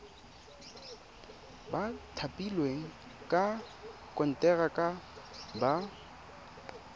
ba thapilweng ka konteraka ba